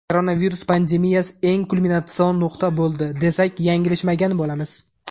Koronavirus pandemiyasi eng kulminatsion nuqta bo‘ldi, desak yanglishmagan bo‘lamiz.